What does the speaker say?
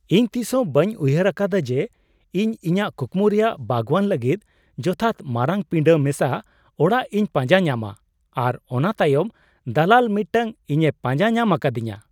ᱤᱧ ᱛᱤᱥᱦᱚᱸ ᱵᱟᱹᱧ ᱩᱭᱦᱟᱹᱨ ᱟᱠᱟᱫᱟ ᱡᱮ ᱤᱧ ᱤᱧᱟᱹᱜ ᱠᱩᱠᱢᱩ ᱨᱮᱭᱟᱜ ᱵᱟᱜᱣᱟᱱ ᱞᱟᱹᱜᱤᱫ ᱡᱚᱛᱷᱟᱛ ᱢᱟᱨᱟᱝ ᱯᱤᱸᱰᱟ ᱢᱮᱥᱟ ᱚᱲᱟᱜ ᱤᱧ ᱯᱟᱸᱡᱟ ᱧᱟᱢᱟ, ᱟᱨ ᱚᱱᱟ ᱛᱟᱭᱚᱢ ᱫᱟᱞᱟᱞ ᱢᱤᱫᱴᱟᱝ ᱤᱧᱮ ᱯᱟᱸᱡᱟ ᱧᱟᱢ ᱟᱠᱟᱫᱤᱧᱟᱹ !